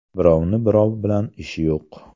Birovni birov bilan ishi yo‘q.